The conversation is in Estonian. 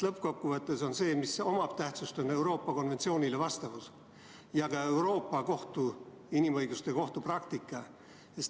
Lõppkokkuvõttes omab tähtsust Euroopa konventsioonile vastavus, samuti Euroopa Inimõiguste Kohtu praktika.